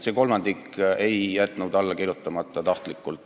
See kolmandik ei jätnud alla kirjutamata tahtlikult.